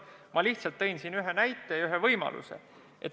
Ma lihtsalt tõin ühe näite, ühe võimaluse.